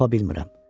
Tapa bilmirəm.